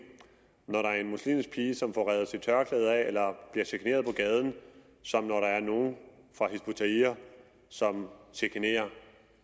når der er en muslimsk pige som får revet sit tørklæde af eller bliver generet på gaden som når der er nogle fra hizb ut tahrir som chikanerer